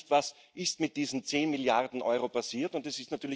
Man weiß nicht, was mit diesen zehn Milliarden Euro passiert ist.